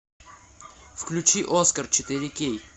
включи оскар четыре кей